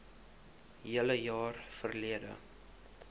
hele jaar verlede